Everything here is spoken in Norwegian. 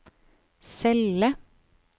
celle